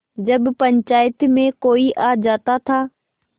जब पंचायत में कोई आ जाता था